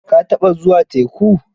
Ka taɓa zuwa teku?